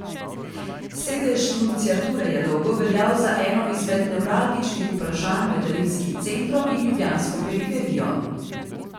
Sedež nunciature je dolgo veljal za eno izmed nevralgičnih vprašanj med rimskim centrom in ljubljansko periferijo.